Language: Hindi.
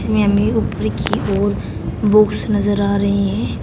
हमें ऊपर की ओर बुक्स नजर आ रही है।